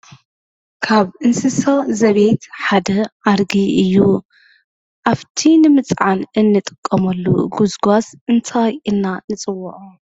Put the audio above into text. ካብ እንስሳ ዘቤት ሓደ ኣድጊ እዩ። ኣፍቲ ንምጽዓን እንጥቀመሉ ጉዝጋዝ እንታይ ንጽዉዖ?